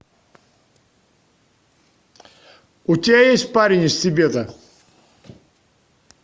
у тебя есть парень из тибета